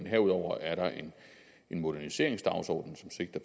herudover er der en moderniseringsdagsorden som sigter